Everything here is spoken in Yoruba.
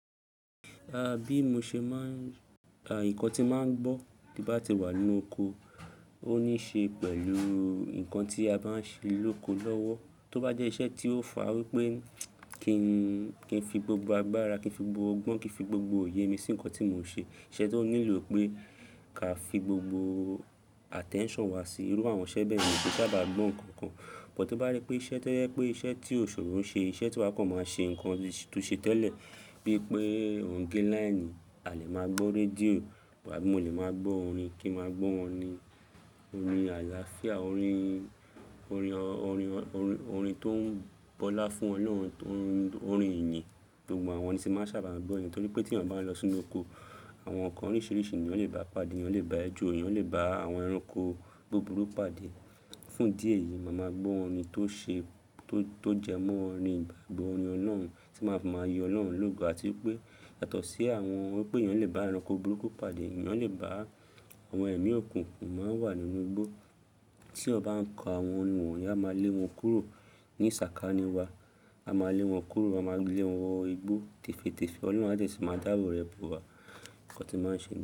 Àbí mo ṣe máà ń, à ìkan tí màá ń gbọ́ bí bá ti wà nínú oko, ó níí ṣe pẹ̀lú nǹkan tí a bá ń ṣe lóko lọ́wọ́. Tó bá jẹ́ iṣẹ́ tí ó fà á wípé kí n, kí n fi gbogbo agbára, kí n fi gbogbo ọgbọ́n, kí n fi gbogbo òye mi sí ǹkan tí mò ń ṣe. Iṣẹ́ tó nílò pé ká fi gbogbo attention wa sí i. Irú àwọn iṣẹ́ bẹ́yẹ̀ mi ki sábà gbọ́ ǹkan kan. Or to bá rí pé iṣẹ́ tó yẹ pé iṣẹ́ tí ò ṣoro ṣe, iṣẹ́ tí wakọ̀ máa ń ṣe, ǹkan tó ṣe tẹ́lẹ̀ bí i pé ò ń gé láínì, a lè máa gbọ́ rédíò, àbí mo lè máa gbọ́ orin, kí n máa gbọ́ orin, orin àlàáfíà, orin, orin ọ, orin ọ, orin tó ń bọlá fún Ọlọ́run, orin ìyìn. Gbogbo àwọn orin ti máa sábà gbọ́ niyẹ̀n, nítorí pé tí ẹ̀yàn bá lọ sínú oko, àwọn ǹkan oríṣìíríṣìí ni èyán lè bá a pàdé, ìyàn lè bá ejọ, èèyàn lè bá àwọn ẹranko búburú pàdé. Fún idí ẹ̀yìí, màá máa gbọ́ orin tó ṣe, tó jẹ mọ́ orin ìgbàgbọ́, orin ọlọ́run tí màá fi máa yin Ọlọ́run lógo àti wípé yátọ̀si àwọn wípé eyàn lè bá ẹranko búruku pàdé, eyàn lè bá àwọn ẹ̀mí òkùnkùn tó máa ń wà nínú igbó. Tí èèyàn ba ń ka àwọn orin wọ̀nyi, á máa lé wọn kúrò ní sàkání wa. A máa lé wọn kúrò, a máa lé wọn wọ igbó tèfétèfẹ́, Ọlọ́run máa dẹ̀sí máa dábò rẹ̀ bọ̀ wá. Ǹkan tí màá ṣe.